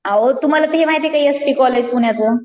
अहो तुम्हाला ते माहितीये का यस के कॉलेज पुण्याचं?